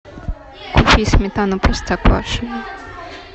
купи сметану простоквашино